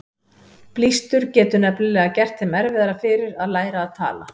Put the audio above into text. Blístur getur nefnilega gert þeim erfiðara fyrir að læra að tala.